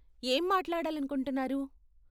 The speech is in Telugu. ఏం మాట్లాడాలనుకుంటున్నారు?